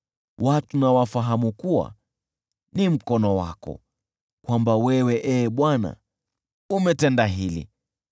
Watu na wafahamu kuwa ni mkono wako, kwamba wewe, Ee Bwana , umetenda hili.